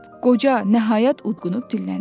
Qoca nəhayət udqunub dilləndi: